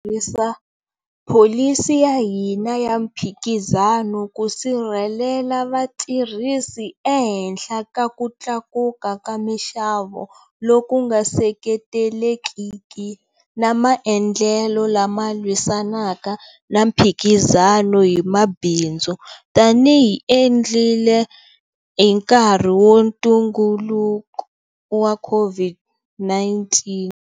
Tirhisa pholisi ya hina ya mphikizano ku sirhelela vatirhisi ehenhla ka ku tlakuka ka mixavo loku nga seketelekiki na maendlelo lama lwisanaka na mphikizano hi mabindzu, tanihiloko hi endlile hi nkarhi wa ntungukulu wa COVID-19.